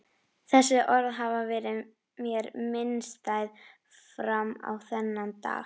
Þessi orð hafa verið mér minnisstæð fram á þennan dag.